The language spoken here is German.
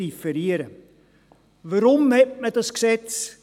Weshalb erliess man dieses Gesetz?